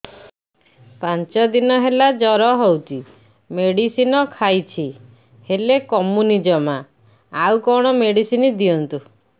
ପାଞ୍ଚ ଦିନ ହେଲା ଜର ହଉଛି ମେଡିସିନ ଖାଇଛି ହେଲେ କମୁନି ଜମା ଆଉ କଣ ମେଡ଼ିସିନ ଦିଅନ୍ତୁ